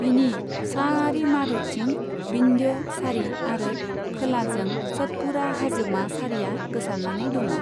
बिनि साआरि मारुथिं विंध्य सारि आरो खोलाजों सतपुड़ा हाजोमा सारिआ गोसारनानै दङं'।